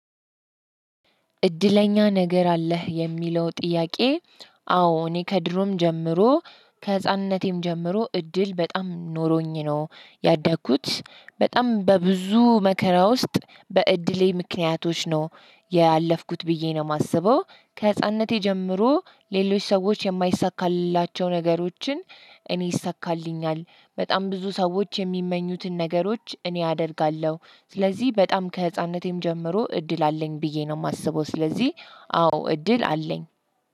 እድለኛ ነገር አለህ የሚለው ጥያቄ? አዎ እኔ ከድሮም ጀምሮ ከህፃንነቴም ጀምሮ እድል በጣም ኖሮኝ ነው ያደግኩት በጣም በብዙ መከራ ውስጥ በእድሌ ምክንያቶች ነው ያለፍኩት ብዬ ነው የማስበው። ከህፃንነቴ ጀምሮ ሌሎች ሰዎች የማይሳካልላቸው ነገሮችን እኔ ይሳካልኛል በጣም ብዙ ሰዎች የሚመኙትን ነገሮች እኔ አደርጋለሁ። ስለዚህ በጣም ከህፃንነቴም ጀምሮ እድል አለኝ ብዬ ነው የማስበው። ስለዚህ አዎ እድል አለኝ።